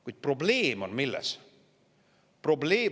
Kuid milles on probleem?